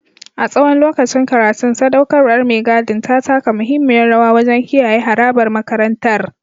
A tsawon lokacin karatun, sadaukarwar mai gadin ta taka muhimmiyar rawa wajen kiyaye harabar makarantar.